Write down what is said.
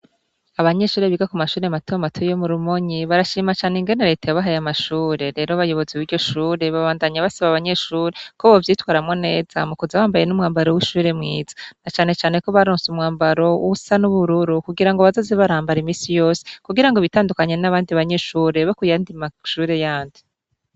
Abanyeshure biga ku mashure matomato yo mu Rumonyi barashima cane ingene Leta yabahaye amashure. Rero abayobozi b'iryo shure babandanya basaba abanyeshure ko bovyifatamwo neza mu kuza bambaye n'umwambaro w'ishure mwiza. Na cane cane ko baronse umwambaro usa n'ubururu kugira ngo bazoze barambara iminsi yose kugira ngo bitandukanye n'abandi banyeshure bo ku yandi mashure yandi.